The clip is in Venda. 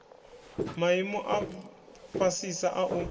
maimo a fhasisa a u